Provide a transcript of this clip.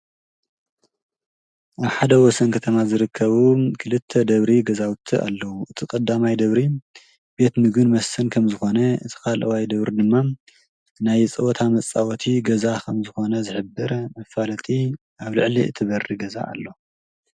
ኣብ ሓደ ወሰን ከተማ ዝርከቡ ክልተ ደብሪ ገዛውቲ ኣለዉ እቲ ቐዳማይ ደብሪ ቤት ምግብን መስተን ከም ዝኾነ እቲ ኻልእዋይ ደብሪ ድማ ናይ ፀወታ መጻወቲ ገዛ ኸም ዝኾነ ዝሕብር መፍለጥቲ ኣብ ልዕሊ እቲ በሪ ገዛ ኣሎ።